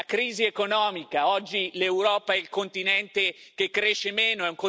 La crisi economica oggi l'Europa è il continente che cresce meno